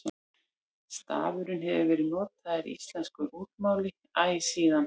stafurinn hefur verið notaður í íslensku ritmáli æ síðan